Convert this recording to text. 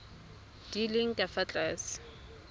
di leng ka fa tlase